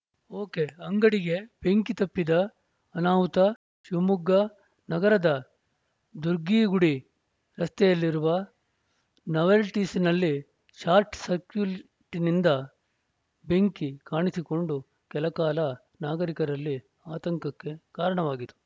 ಒಕೆಅಂಗಡಿಗೆ ಬೆಂಕಿ ತಪ್ಪಿದ ಅನಾಹುತ ಶಿವಮೊಗ್ಗ ನಗರದ ದುರ್ಗಿಗುಡಿ ರಸ್ತೆಯಲ್ಲಿರುವ ನಾವೆಲ್ಟೀಸ್‌ನಲ್ಲಿ ಶಾರ್ಟ್‌ ಸಕ್ರ್ಯೂಟ್‌ನಿಂದ ಬೆಂಕಿ ಕಾಣಿಸಿಕೊಂಡು ಕೆಲ ಕಾಲ ನಾಗರಿಕರಲ್ಲಿ ಆತಂಕಕ್ಕೆ ಕಾರಣವಾಗಿತ್ತು